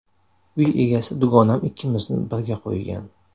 Uy egasi dugonam ikkimizni birga qo‘ygan.